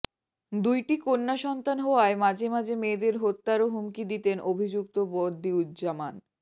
দুইটি কন্যা সন্তান হওয়ায় মাঝে মাঝে মেয়েদের হত্যারও হুমকি দিতেন অভিযুক্ত বদিউজ্জামান